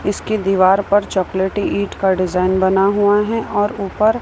इसकी दीवार पर चॉकलेटी ईंट का डिजाइन बना हुआ है और ऊपर--